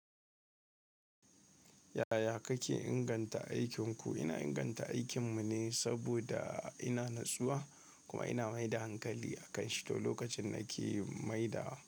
Yaya kake inganta aikinku? Ina inganta aikin mu ne saboda ina natsuwa kuma ina mai da hankali a kan shito lokacin na ke maidawa.